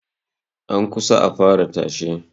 An kusa a fara tashe